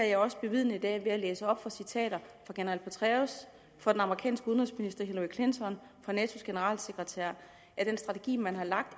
jeg også bevidnet i dag ved at læse op af citater fra general petraeus fra den amerikanske udenrigsminister hilary clinton og fra natos generalsekretær at den strategi man har lagt